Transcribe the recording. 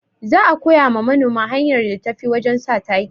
Za a koya ma manoma hanyar da tafi wajen sa taki